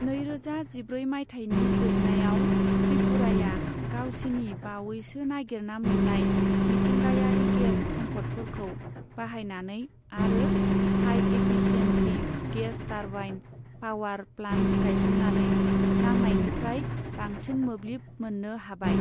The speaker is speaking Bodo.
नैरोजा जिब्रै मायथाइनि जोबनायाव, त्रिपुराया गावसिनि बावैसो नागिरना मोन्नाय मिथिंगायारि गेस सम्फदफोरखौ बाहायनानै आरो high efficiency gas turbine power plant गायसन्नानै नांनायनिफ्राय बांसिन मोब्लिब मोन्नो हाबाय।